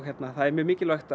það er mjög mikilvægt